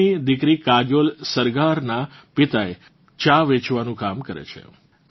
સાંગલીની દિકરી કાજોલ સરગારનાં પિતા ચા વેચવાનું કામ કરે છે